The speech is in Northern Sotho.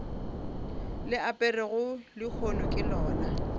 le aperego lehono ke lona